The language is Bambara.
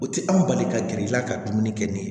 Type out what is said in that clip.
O tɛ an bali ka gɛr'i la ka dumuni kɛ ni